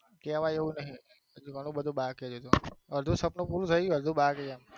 કેવાય એવું નહિ ઘણું બધું બાકી છે અડધું સપનું પૂરું થઇ ગયું અડધું બાકી છે એમ.